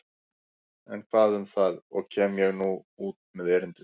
En hvað um það og kem ég nú út með erindið.